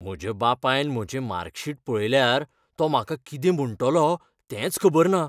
म्हज्या बापायन म्हजें मार्कशीट पळयल्यार, तो म्हाका कितें म्हणटलो तेंच खबर ना.